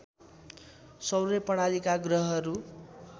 सौर्य प्रणालीका ग्रहहरू